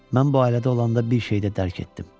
Mən bu ailədə olanda bir şeyi də dərk etdim.